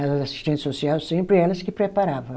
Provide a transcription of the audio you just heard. As assistentes social, sempre elas que preparava.